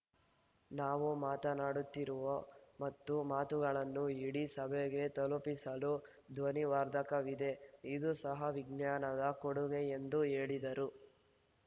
ನಾವು ಮಾತನಾಡುತ್ತಿರುವ ಮತ್ತು ಮಾತುಗಳನ್ನು ಇಡೀ ಸಭೆಗೆ ತಲುಪಿಸಲು ಧ್ವನಿವರ್ಧಕವಿದೆ ಇದೂ ಸಹ ವಿಜ್ಞಾನದ ಕೊಡುಗೆ ಎಂದು ಹೇಳಿದರು